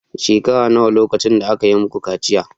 Shekara nawa lokacin da aka yi muku kaciya